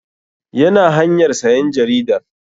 Yana hanyar sayan jaridar